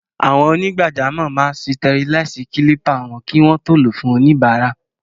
Àwọn onígbàjamọ̀ máa sitẹriláìsì kílípà kí wọ́n tó lò ó fún oníbàárà.